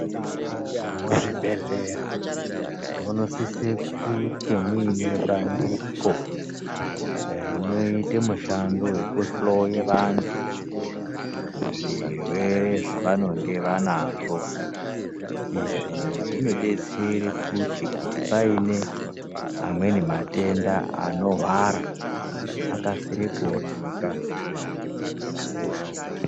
Muzvibhedhlera munosise kunge muine bandiko rinoita mushando wekuhloye vantu zvirwere zvavanonge vanazvo, izvi zvinodetsere kuti, kuti paine amweni matenda anohwara akasire kuoneka ngevantu vadetsereke.